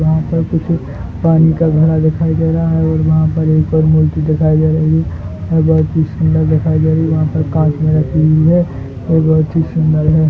यहाँ पर कुछ अ पानी का घड़ा दिखाई दे रहा है और वहाँ पर एक मूर्ति दिखाई दे रही है और बहोत सुंदर दिखाई दे रही है यहाँ पर कांच में रखी हुई है वोह बहोत ही सुन्दर है।